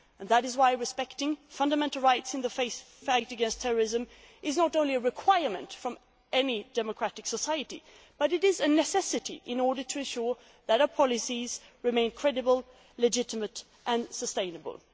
without freedom. That is why respecting fundamental rights in the fight against terrorism is not only a requirement of any democratic society but is a necessity in order to ensure that our policies remain credible, legitimate